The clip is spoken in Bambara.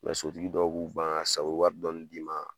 so tigi dɔw b'u ban ,sabu u bi wari dɔɔni d'i ma